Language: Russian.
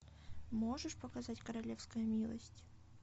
можешь показать королевская милость